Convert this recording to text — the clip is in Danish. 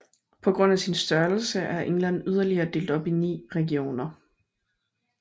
På grund af sin størrelse er England yderligere delt i 9 regioner